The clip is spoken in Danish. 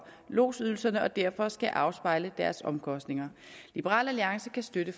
lodsydelserne og derfor skal afspejle deres omkostninger liberal alliance kan støtte